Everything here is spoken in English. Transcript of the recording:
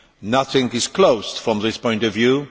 Nothing is closed from this point of view.